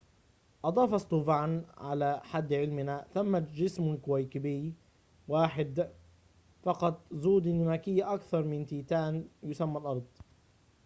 أضاف ستوفان على حد علمنا ثمة جسم كوكبي واحد فقط ذو ديناميكية أكثر من تيتان يُسمى الأرض